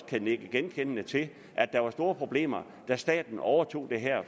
kan nikke genkendende til at der var store problemer da staten overtog det her